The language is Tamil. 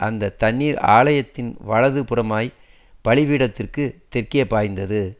அந்த தண்ணீர் ஆலயத்தின் வலது புறமாய்ப் பலிபீடத்துக்குத் தெற்கே பாய்ந்தது